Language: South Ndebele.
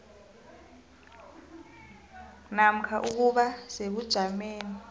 namkha ukuba sebujameni